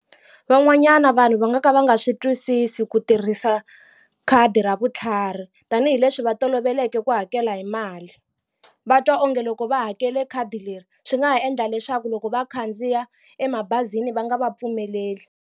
Van'wanyana vanhu va nga ka va nga swi twisisi ku tirhisa khadi ra vutlhari tanihileswi va toloveleke ku hakela hi mali va twa onge loko va hakele khadi leri swi nga ha endla leswaku loko va khandziya emabazini va nga va pfumeleli.